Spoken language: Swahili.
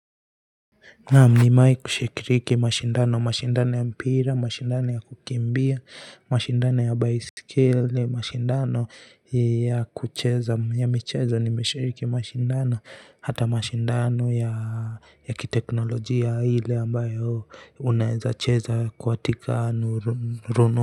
Naam, nimewahi kushiriki mashindano, mashindano ya mpira, mashindano ya kukimbia, mashindano ya baiskeli, mashindano ya kucheza, ya michezo, nimeshiriki mashindano, hata mashindano ya kiteknolojia, ile ambayo unaweza kucheza katika rununu.